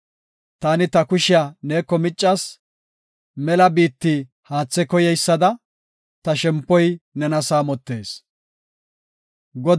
Taani ta kushiya neeko miccas; mela biitti haathe koyeysada, ta shempoy nena saamotees. Salaha